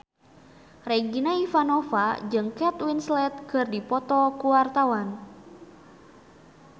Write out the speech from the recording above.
Regina Ivanova jeung Kate Winslet keur dipoto ku wartawan